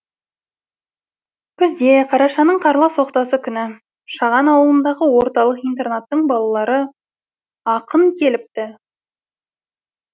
күзде қарашаның қарлы соқтасы күні шаған ауылындағы орталық интернаттың балалары ақын келіпті